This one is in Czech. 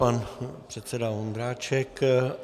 Pan předseda Vondráček.